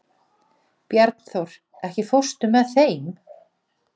Bjarnþór, ekki fórstu með þeim?